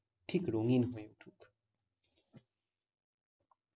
ঠিক রঙিন হয়ে।